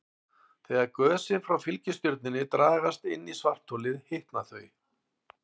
Þegar gösin frá fylgistjörnunni dragast inn í svartholið hitna þau.